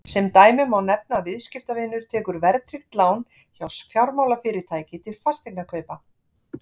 sem dæmi má nefna að viðskiptavinur tekur verðtryggt lán hjá fjármálafyrirtæki til fasteignakaupa